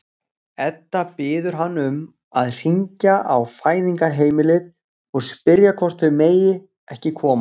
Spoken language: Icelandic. Edda biður hann um að hringja á Fæðingarheimilið og spyrja hvort þau megi ekki koma.